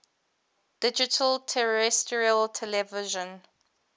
digital terrestrial television